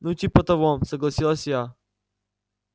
ну типа того согласилась я